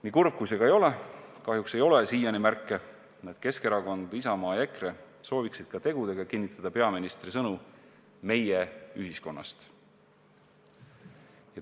Nii kurb, kui see ka ei ole, kahjuks ei ole siiani märke, et Keskerakond või Isamaa ja EKRE sooviksid ka tegudega kinnitada peaministri sõnu "meie ühiskonnast".